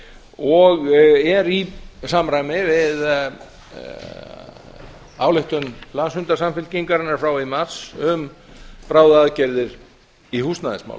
og er í samræmi við ályktun landsfundar samfylkingarinnar frá í mars um bráðaaðgerðir í húsnæðismálum